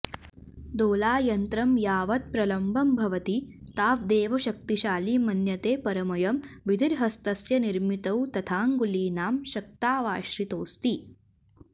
दोलायन्त्रं यावत् प्रलम्बं भवति ताव्देव शक्तिशालि मन्यते परमयं विधिर्हस्तस्य निर्मितौ तथा ङ्गुलीनां शक्तावाश्रितोऽस्ति